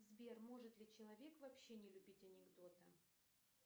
сбер может ли человек вообще не любить анекдоты